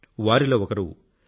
వారిలో ఒకరు టి